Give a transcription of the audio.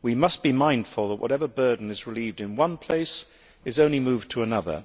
We must be mindful that whatever burden is relieved in one place is not just moved to another.